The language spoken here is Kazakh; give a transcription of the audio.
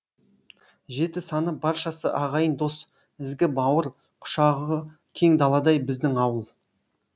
жеті саныбаршасы ағайын дос ізгі бауыр құшағы кең даладай біздің ауыл